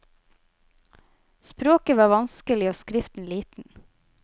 Språket var vanskelig og skriften liten.